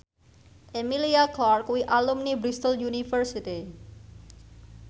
Emilia Clarke kuwi alumni Bristol university